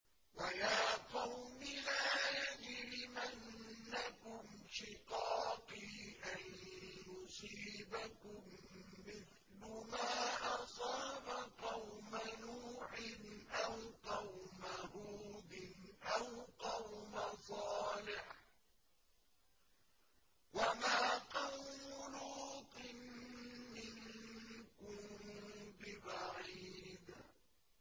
وَيَا قَوْمِ لَا يَجْرِمَنَّكُمْ شِقَاقِي أَن يُصِيبَكُم مِّثْلُ مَا أَصَابَ قَوْمَ نُوحٍ أَوْ قَوْمَ هُودٍ أَوْ قَوْمَ صَالِحٍ ۚ وَمَا قَوْمُ لُوطٍ مِّنكُم بِبَعِيدٍ